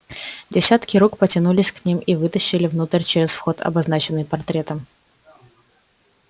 десятки рук потянулись к ним и вытащили внутрь через вход обозначенный портретом